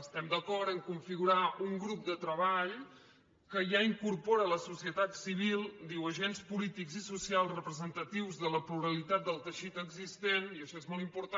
estem d’acord en el fet de configurar un grup de treball que ja incorpora la societat civil diu agents polítics i socials representa·tius de la pluralitat del teixit existent i això és molt important